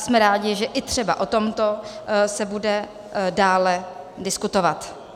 Jsme rádi, že třeba i o tomto se bude dále diskutovat.